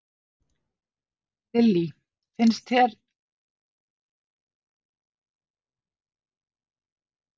Lillý: Finnst einhver ástæða fyrir fólk að hafa áhyggjur?